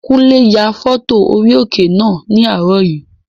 Kúnlé ya fọ́tò orí òkè náà ní àárọ̀ yìí